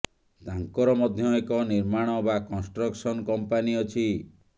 ତାଙ୍କର ମଧ୍ୟ ଏକ ନିର୍ମାଣ ବା କନ୍ଷ୍ଟ୍ରକ୍ସନ କମ୍ପାନୀ ଅଛି